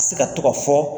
Se ka to ka fɔ